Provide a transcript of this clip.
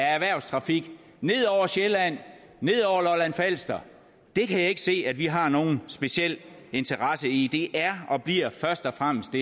af erhvervstrafik ned over sjælland ned over lolland falster det kan jeg ikke se at vi har nogen speciel interesse i det her er og bliver først og fremmest